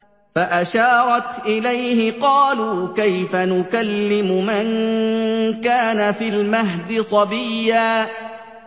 فَأَشَارَتْ إِلَيْهِ ۖ قَالُوا كَيْفَ نُكَلِّمُ مَن كَانَ فِي الْمَهْدِ صَبِيًّا